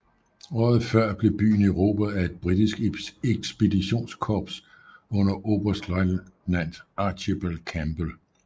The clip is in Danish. Året før blev byen erobret af et britisk ekspeditionskorps under oberstløjtnant Archibald Campbell